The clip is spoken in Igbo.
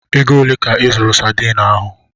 Ego ole ka ị zụrụ Sadiin ahụ?